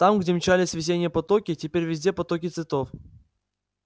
там где мчались весенние потоки теперь везде потоки цветов